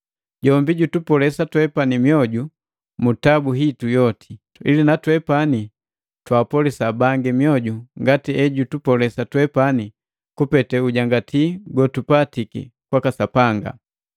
Jombi jutupolesa twepani mioju mu tabu hitu yoti, ili natwepani twapolisa bangi mioju ngati ejutupolesa twepani kupete ujangati gotupatiki kwaka Sapanga.